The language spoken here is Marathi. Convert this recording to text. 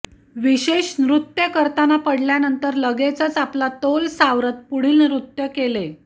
विशेष नृत्य करताना पडल्यानंतर लगेचच आपला तोल सावरत पुढील नृत्य केले